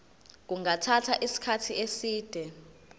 kungathatha isikhathi eside